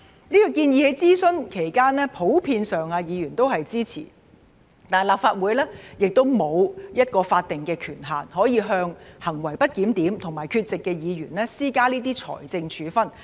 這項建議在諮詢期間，議員普遍也是支持的，但立法會沒有一個法定權限向行為不檢點和缺席的議員施加這些財政處分。